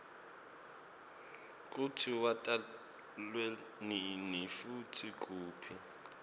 kutsi watalwanini futsi kuphi